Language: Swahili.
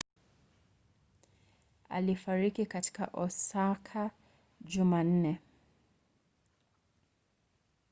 alifariki katika osaka jumanne